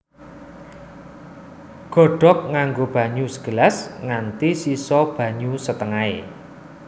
Godhog nganggo banyu segelas nganti sisa banyu setengahé